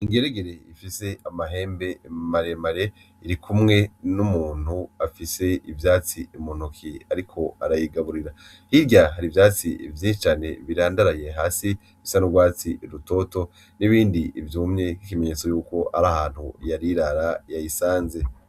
Ingeregere ifise amahembe maremare irikumwe n'umuntu afise ivyatsi muntoke ariko arayigaburira hirya hari ivyatsi vyinshi cane birandaraye hasi bisa n'urwatsi rutoto n’ibindi vyumye bifise ibimenyetso yuko ari ahantu yari irara yayisanze.